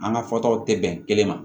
An ka fɔtaw tɛ bɛn kelen ma